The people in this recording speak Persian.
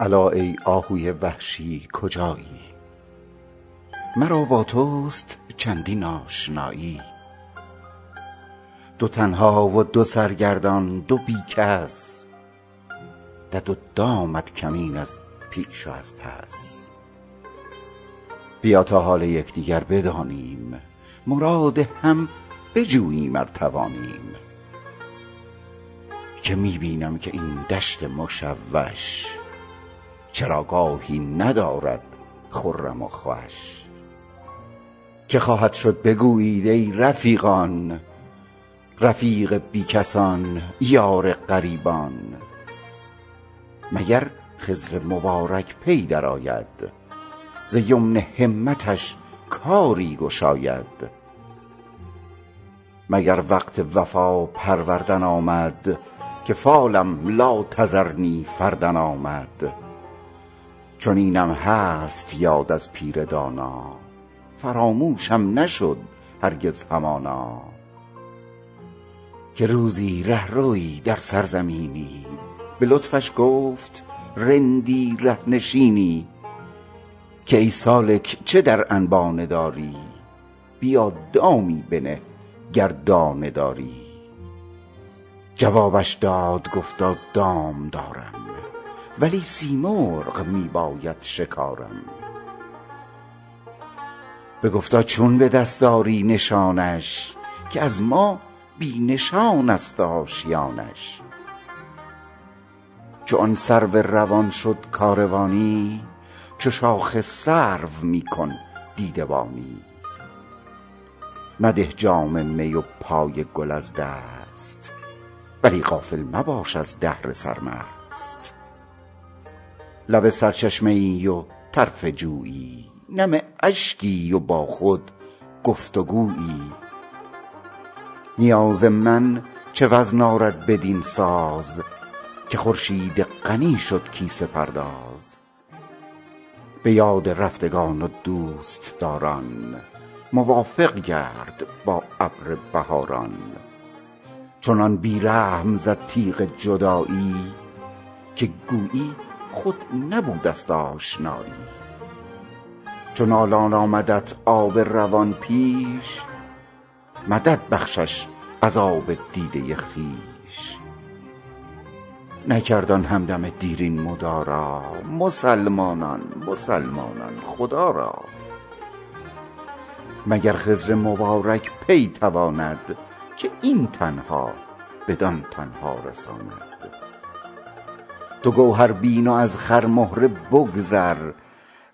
الا ای آهوی وحشی کجایی مرا با توست چندین آشنایی دو تنها و دو سرگردان دو بی کس دد و دامت کمین از پیش و از پس بیا تا حال یک دیگر بدانیم مراد هم بجوییم ار توانیم که می بینم که این دشت مشوش چراگاهی ندارد خرم و خوش که خواهد شد بگویید ای رفیقان رفیق بی کسان یار غریبان مگر خضر مبارک پی درآید ز یمن همتش کاری گشاید مگر وقت وفا پروردن آمد که فالم لا تذرنی فردا آمد چنینم هست یاد از پیر دانا فراموشم نشد هرگز همانا که روزی ره روی در سرزمینی به لطفش گفت رندی ره نشینی که ای سالک چه در انبانه داری بیا دامی بنه گر دانه داری جوابش داد گفتا دام دارم ولی سیمرغ می باید شکارم بگفتا چون به دست آری نشانش که از ما بی نشان است آشیانش چو آن سرو روان شد کاروانی چو شاخ سرو می کن دیده بانی مده جام می و پای گل از دست ولی غافل مباش از دهر سرمست لب سرچشمه ای و طرف جویی نم اشکی و با خود گفت و گویی نیاز من چه وزن آرد بدین ساز که خورشید غنی شد کیسه پرداز به یاد رفتگان و دوست داران موافق گرد با ابر بهاران چنان بی رحم زد تیغ جدایی که گویی خود نبوده است آشنایی چو نالان آمدت آب روان پیش مدد بخشش از آب دیده خویش نکرد آن هم دم دیرین مدارا مسلمانان مسلمانان خدا را مگر خضر مبارک پی تواند که این تنها بدان تنها رساند تو گوهر بین و از خرمهره بگذر